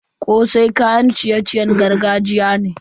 Kosai kayan ciye-ciyen gargajiya ne.